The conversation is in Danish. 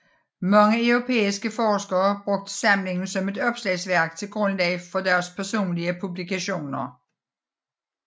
Mange europæiske forskere brugte samlingen som et opslagsværk til grundlag for deres personlige publikationer